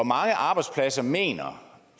mange arbejdspladser mener